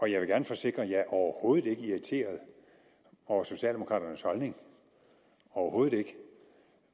jeg vil gerne forsikre at jeg overhovedet ikke er irriteret over socialdemokraternes holdning overhovedet ikke